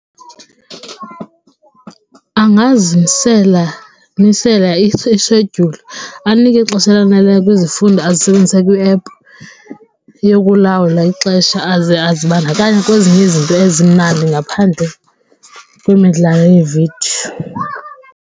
Angazimisela ishedyuli anikwe ixesha elaneleyo kwizifundo azisebenzisa kwi-app yokulawula ixesha aze azibandakanye kwezinye izinto ezimnandi ngaphandle kwemidlalo yeevidiyo.